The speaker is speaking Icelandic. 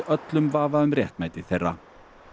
öllum vafa um réttmæti þeirra